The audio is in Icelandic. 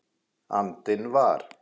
andinn var.